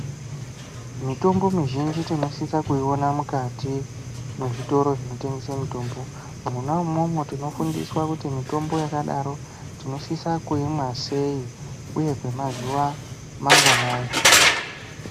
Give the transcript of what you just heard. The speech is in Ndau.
Mitombo mizhinji tinosise kuiona mukati mezvitoro zvinotengesa mitombo. Mwona umwomwo tinofundiswa kuti tinosisa kuimwa sei uye kwemazuva manganayi.